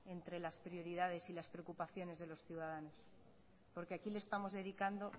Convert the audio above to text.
entre las prioridades y las preocupaciones de los ciudadanos porque aquí le estamos dedicando